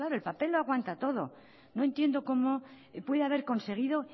el papel lo aguanta todo no entiendo cómo puede haber conseguido